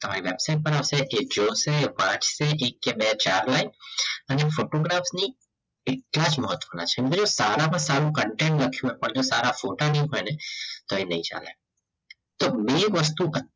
તમારે વેબસાઈટ પર આવશે એ જોશે એ વાંચશે એક કે બે ચાર હોય અને ની સારામાં સારો content લખ્યું હોય પણ જો સારા ફોટા ની પડે તો એ નહીં ચાલે તો વસ્તુ